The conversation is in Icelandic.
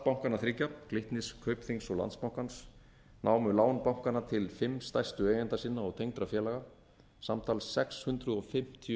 bankanna þriggja glitnis kaupþings og landsbankans námu láns bankanna til fimm stærstu eigenda sinna og tengdra félaga samtals sex hundruð fimmtíu